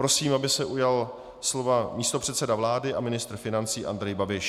Prosím, aby se ujal slova místopředseda vlády a ministr financí Andrej Babiš.